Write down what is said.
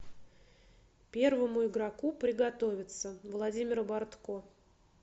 первому игроку приготовиться владимира бортко